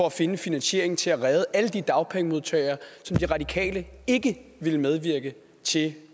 at finde en finansiering til at redde alle de dagpengemodtagere som de radikale ikke ville medvirke til